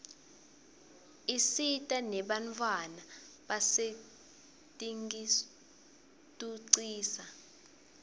isita nenbantfwana basetinkitucisa